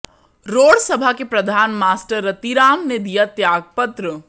road Sabha के प्रधान master Ratiram ने दिया त्यागपत्र